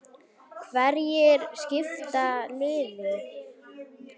Hverjir skipa liðið?